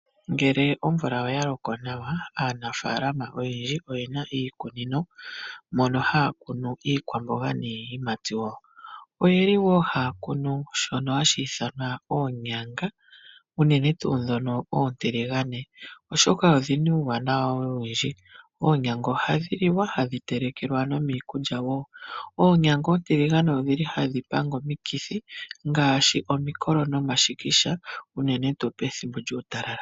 Ngele omvula oya loko nawa, aanafaalama oyendji oye na iikunino mono haya kunu iikwamboga niiyimati wo. Ohaya kunu wo shoka hashi ithanwa oonyanga, unene tuu ndhono oontiligane, oshoka odhi na uuwanawa owindji. Oonyanga ohadhi liwa hadhi telekelwa nomiikulya wo. Oonyanga oontiligane ohadhi panga omikithi ngaashi omikolo nomashikisha uene tuu pethimbo lyuutalala.